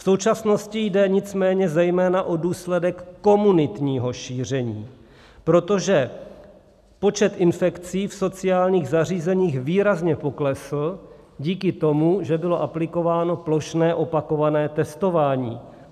V současnosti jde nicméně zejména o důsledek komunitního šíření, protože počet infekcí v sociálních zařízeních výrazně poklesl díky tomu, že bylo aplikováno plošné opakované testování.